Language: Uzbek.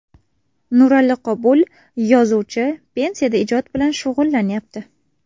Nurali Qobul, yozuvchi, pensiyada ijod bilan shug‘ullanyapti.